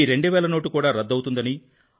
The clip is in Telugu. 2000 నోటు కూడా రద్దవుతుందని రూ